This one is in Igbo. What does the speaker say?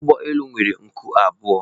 Ụgbọ elu nwere nku abụọ